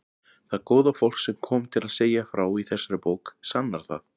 Það góða fólk sem kom til að segja frá í þessari bók sannar það.